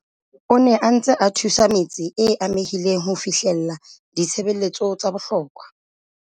a ne a ntse a thusa metse e amehileng ho fihlella ditshebeletso tsa bohlokwa.